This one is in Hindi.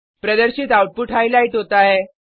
प्रदर्शित आउटपुट हाइलाइट होता है